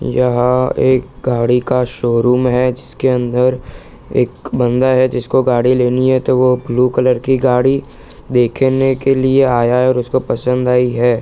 यहाँ एक गाड़ी का शोरूम है जिसके अंदर एक बंदा है जिसको गाड़ी लेनी है तो वो ब्लू कलर की गाड़ी देखने के लिए आया है और उसको पसंद आई है |